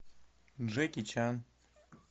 джеки чан